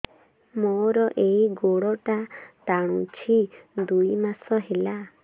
ମୋର ଏଇ ଗୋଡ଼ଟା ଟାଣୁଛି ଦୁଇ ମାସ ହେଲା